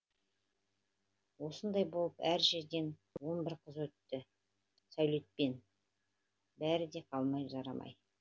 осындай болып әр жерден он бір қыз өтті сәулетпен бәрі де қалды жарамай